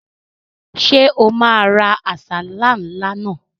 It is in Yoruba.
Ṣé o máa ra àsálà ńlá náà?